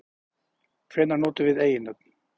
Hvenær notum við eiginnöfn?